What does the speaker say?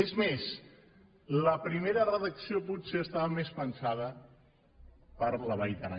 és més la primera redacció potser estava més pensada per a la vall d’aran